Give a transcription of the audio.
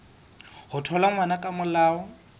ho thola ngwana ka molao